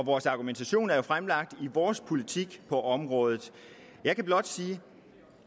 vores argumentation er jo fremlagt i vores politik på området jeg kan blot sige